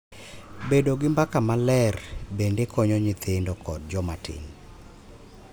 Bedo gi mbaka maler bende konyo nyithindo kod joma tin .